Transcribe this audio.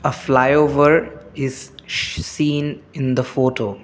a flyover is seen in the photo.